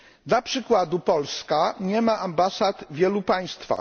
Dla przykładu Polska nie ma ambasad w wielu państwach.